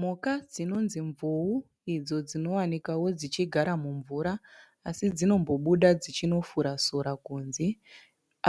Mhuka dzinonzi mvuu idzo dzinowanikawo dzichigara mumvura asi dzinombobuda dzichinofura sora kunze.